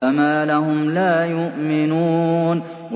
فَمَا لَهُمْ لَا يُؤْمِنُونَ